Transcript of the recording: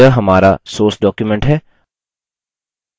यह हमारा source document है